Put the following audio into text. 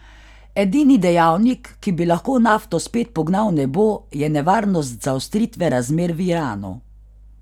Edini dejavnik, ki bi lahko nafto spet pognal v nebo, je nevarnost zaostritve razmer v Iranu.